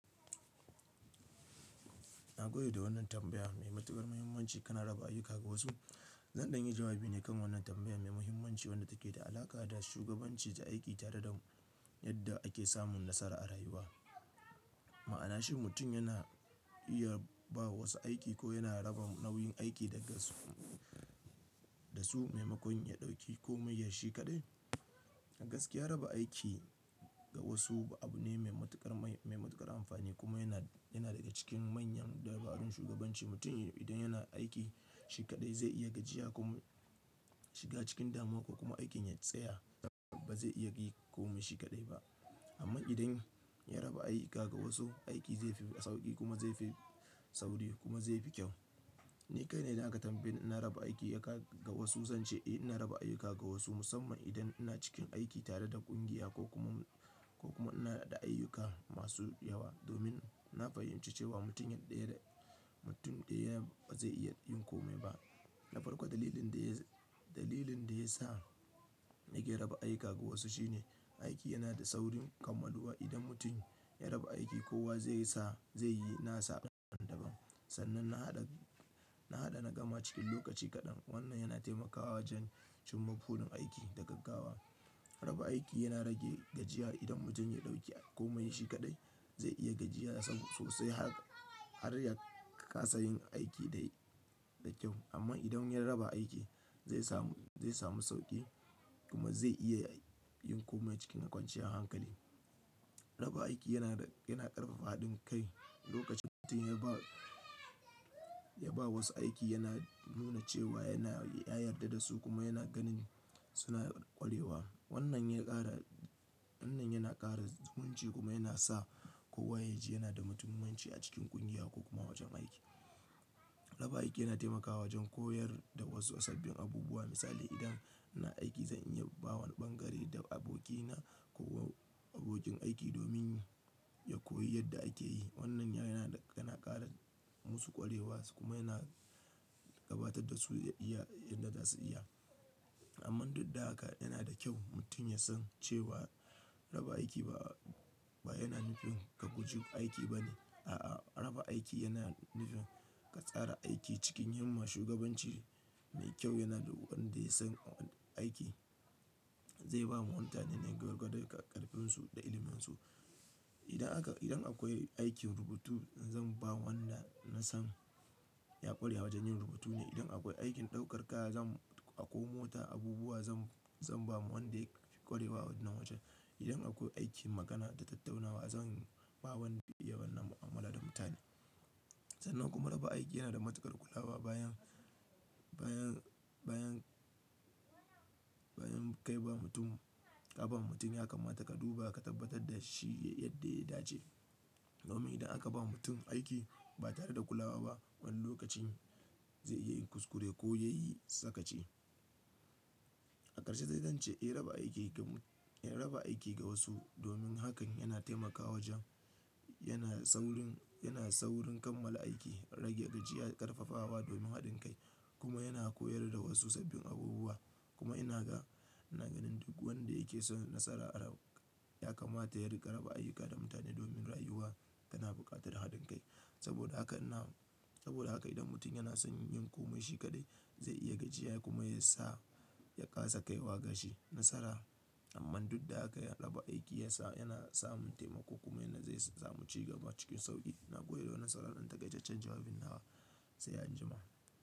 Na gode da wannan tambaya mai matuƙar muhimmanci. Kana raba ayyuka ga wasu? Zan ɗan yi jawabi ne kan wannan tambaya mai muhimmanci wadda take da alaƙa da shugabanci da aiki tare da yadda ake samun nasara a rayuwa. Ma'anashi mutum yana iya ba wa wasu aiki ko yana raba nau'in aiki daga su, da su maimakon ya ɗauki komai shi kaɗai. Gaskiya raba aiki ga wasu abu ne mai matuƙar, mai matuƙar amfani kuma yana, yana daga cikin manyan dabarun shugabanci. Mutum idan yana aiki shi kaɗai zai iya gajiya kuma shiga cikin damuwa kuma aikin ya tsaya, ba zai iya yi komai shi kaɗai ba. Amma idan ya raba ayyuka ga wasu, aiki zai fi sauƙi kuma zai fi sauri kuma zai fi kyau. Ni kai ne idan aka tambaye ina raba aiki ga wasu, zan ce eh ina raba ayyuka ga wasu musamman idan ina cikin aiki tare da ƙungiya ko kuma, ko kuma ina da ayyuka masu yawa. Domin na fahimci cewa mutum ɗaya, mutum ɗaya ba zai iya yin komai ba. Na farko dalilin da ya sa, dalilin da ya sa nake raba ayyuka ga wasu shine aiki yana da saurin. Idan mutum ya raba aiki kowa zai sa, zai yi nasa daban daban. Sannan na haɗa, na haɗa na gama cikin lokaci kaɗan. Wannan yana taimakawa wajen cimma burin aiki da gaggawa. Raba aiki yana rage gajiya. Idan mutum ya ɗauki komai shi kaɗai zai iya gajiya saboda sosai har ya ƙasa yin aiki da, da kyau. Amma idan ya raba aiki zai samu, zai samu sauƙi kuma zai iya yin komai cikin kwanciyar hankali. Raba aiki yana, yana ƙarfafa haɗin kai. Lokacin da mutum ya ba, ya ba wasu aiki yana nuna cewa yana, ya yarda da su kuma yana ganin suna ƙwarewa. Wannan ya ƙara, wannan yana ƙara zumunci kuma yana sa kowa ya ji yana da muhimmanci a cikin ƙungiya ko kuma wajen aiki. Raba aiki yana taimakawa wajen koyar da wasu sabbin abubuwa. Misali idan ina aiki zan iya ba wani ɓangare da abokina ko abokin aiki domin ya koyi yadda ake yi. Wannan yana, yana ƙara musu ƙwarewa su kuma yana gabatar da su iya yadda za su iya. Amman duddaka yana da kyau mutum ya san cewa raba aiki ba, ba yana nufin ka gujewa aiki ba ne. A'a, raba aiki yana nufin ka tsara aiki cikin yin ma shugabanci mai kyau. Yana da wadda ya san aiki zai ba wa mutane nan gwargwado da ƙarfin su da ilimin su. Idan aka, idan akwai aikin rubutu zan ba wanda na san ya ƙware wajen yin rubutu ne. Idan akwai aikin ɗaukar kaya zan naƙo mota abubuwa zan, zan ba wa wadda ya ƙwarewa na wajen. Idan akwai aikin magana da ta tataunawa zan ba wanda ya bani amala da mutane. Sannan kuma raba aiki yana da matuƙar kulawa. Bayan, bayan, bayan, bayan ka ba mutum, ya kamata ka duba ka tabbatar da shi yadda ya dace. Domin idan aka ba mutum aiki ba tare da kulawa ba wani lokacin zai iya yin kuskure ko ya yi sakaci. A ƙarshe zai zance eh raba aiki ga, eh raba aiki ga wasu domin hakan yana taimakawa wajen yana saurin, yana saurin kammala aiki, rage gajiya, ƙarfafawa domin haɗin kai kuma yana koyar da wasu sabbin abubuwa. Kuma ina ga, ina ganin duk wadda yake so ya yi nasara a rayuwa ya kamata ya riƙa raba ayyuka da mutane domin rayuwa tana buƙatar haɗin kai. Saboda haka ina, saboda haka idan mutum yana son yin komai shi kaɗai zai iya gajiya kuma ya sa ya ƙasa kaiwa ga shi nasara. Amman duddaka raba aiki ya sa, yana samun taimako kuma yana sa zai samu cigaba cikin sauƙi. Na gode da wannan saan ta gaishen jawabin nawa sai an jima.